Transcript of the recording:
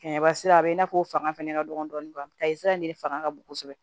Kɛmɛ sira a bɛ i n'a fɔ o fanga fɛnɛ ka dɔgɔ dɔɔnin ta sira in de fanga ka bon kosɛbɛ